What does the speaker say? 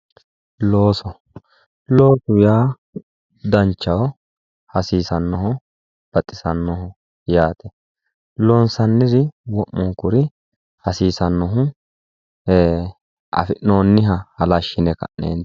Looso, loosu yaa danchaho, hasiisanoho baxisanoho yaate loonsanniri baalunkuri hasiisanohu affi'nooniha halashirate